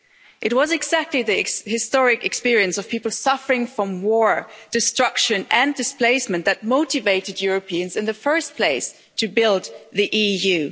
It was exactly the historic experience of people suffering from war, destruction and displacement that motivated Europeans in the first place to build the EU.